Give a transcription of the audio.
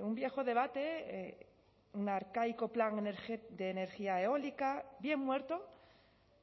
un viejo debate un arcaico plan de energía eólica bien muerto